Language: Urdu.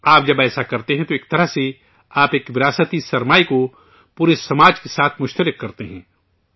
آپ جب ایسا کرتے ہیں تو ایک طرح سے آپ ایک وراثتی سرمایہ کو پورے سماج کے ساتھ شیئر کرتے ہیں